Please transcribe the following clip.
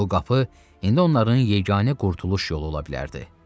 Bu qapı indi onların yeganə qurtuluş yolu ola bilərdi.